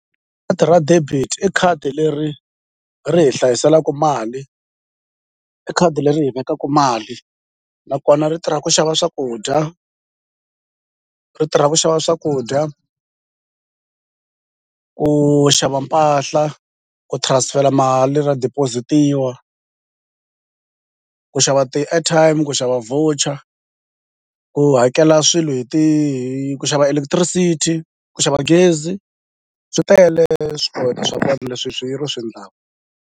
ra debit i khadi leri ri hi hlayiselaku mali i khadi leri hi vekaku mali nakona ri tirha ku xava swakudya ri tirha ku xava swakudya ku xava mpahla ku transfer-la mali ra deposit-iwa ku xava ti-airtime ku xava voucher ku hakela swilo hi hi ku xava electricity ku xava gezi swi tele swa vona leswi swi ri swi ndlaku.